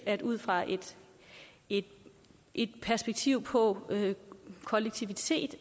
jeg ud fra et et perspektiv på kollektivitet